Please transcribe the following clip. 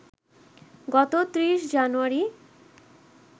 গত ৩০ জানুয়ারি